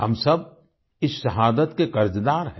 हम सब इस शहादत के कर्जदार हैं